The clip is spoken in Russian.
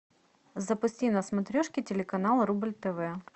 запусти на смотрешке телеканал рубль тв